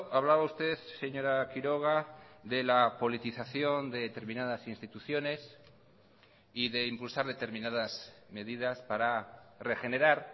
hablaba usted señora quiroga de la politización de determinadas instituciones y de impulsar determinadas medidas para regenerar